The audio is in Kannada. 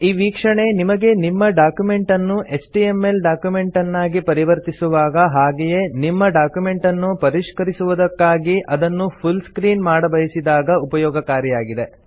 ಈ ವೀಕ್ಷಣೆ ನಿಮಗೆ ನಿಮ್ಮ ಡಾಕ್ಯುಮೆಂಟ್ ಅನ್ನು ಎಚ್ಟಿಎಂಎಲ್ ಡಾಕ್ಯುಮೆಂಟನ್ನಾಗಿ ಪರಿವರ್ತಿಸುವಾಗ ಹಾಗೆಯೇ ನಿಮ್ಮ ಡಾಕ್ಯುಮೆಂಟನ್ನು ಪರಿಷ್ಕರಿಸುವುದಕ್ಕಾಗಿ ಅದನ್ನು ಫುಲ್ ಸ್ಕ್ರೀನ್ ಮಾಡಬಯಿಸಿದಾಗ ಉಪಯೋಗಕಾರಿಯಾಗಿದೆ